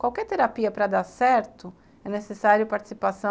Qualquer terapia para dar certo é necessário participação